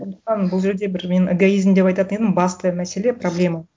бұл жерде бір мен эгоизм деп айтатын едім басты мәселе проблема